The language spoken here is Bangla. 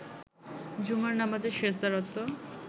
জুমার নামাজে সেজদারত